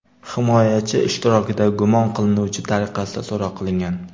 himoyachi ishtirokida gumon qilinuvchi tariqasida so‘roq qilingan.